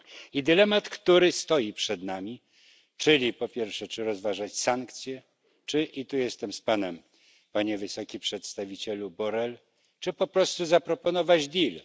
I dylemat, który stoi przed nami, czyli po pierwsze czy rozważać sankcje, czy i tu jestem z Panem, Panie Wysoki Przedstawicielu Borrell po prostu zaproponować deal.